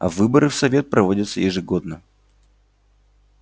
а выборы в совет проводятся ежегодно